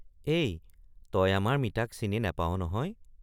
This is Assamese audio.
এই তই আমাৰ মিতাক চিনি নেপাৱ নহয়।